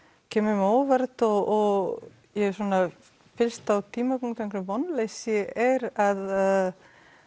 kemur á óvart og ég fyllist á tímapunkti vonleysi er að